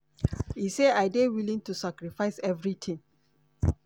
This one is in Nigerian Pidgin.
e say "i dey willing to sacrifice evritin".